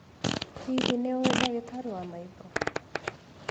Hihi nĩ ũĩ ndagĩtarĩ wa maitho?